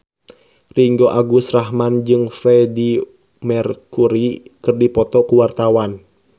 Ringgo Agus Rahman jeung Freedie Mercury keur dipoto ku wartawan